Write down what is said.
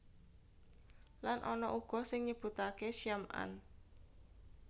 Lan ana uga sing nyebutaké Syam an